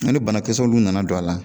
Ni banakisɛw olu nana don a la